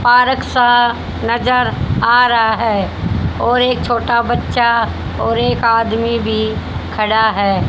Park सा नजर आ रहा है और एक छोटा बच्चा और एक आदमी भी खड़ा है।